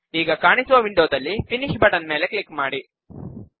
ಈಗ ಕಾಣಿಸುವ ವಿಂಡೋದಲ್ಲಿ ಫಿನಿಶ್ ಬಟನ್ ಮೇಲೆ ಕ್ಲಿಕ್ ಮಾಡಿ